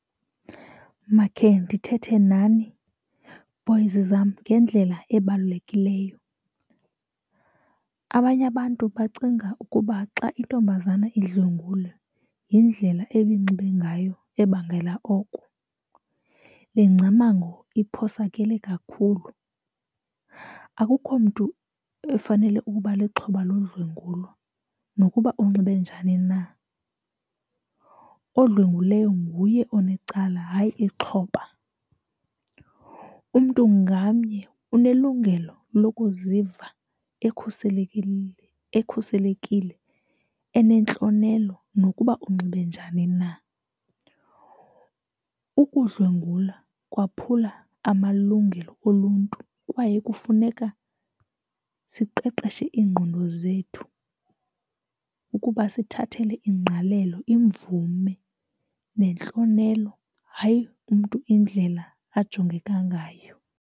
Makhe ndithethe nani boys zam ngendlela ebalulekileyo. Abanye abantu bacinga ukuba xa intombazana idlwengulwe yindlela ebinxibe ngayo ebangela oko. Le ngcamango iphosakele kakhulu, akukho mntu efanele ukuba lixhoba lodlwengulo nokuba unxibe njani na. Odlwenguleyo nguye onecala, hayi ixhoba. Umntu ngamnye unelungelo lokuziva ekhuselekile enentlonelo nokuba unxibe njani na. Ukudlwengula kwaphula amalungelo oluntu kwaye kufuneka siqeqeshe iingqondo zethu ukuba sithathele ingqalelo imvume nentlonelo, hayi umntu indlela ajongeka ngayo.